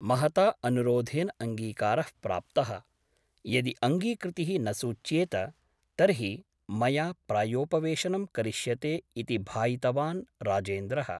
महता अनुरोधेन अङ्गीकारः प्राप्तः । यदि अङ्गीकृतिः न सूच्येत तर्हि मया प्रायोपवेशनं करिष्यते इति भायितवान् राजेन्द्रः ।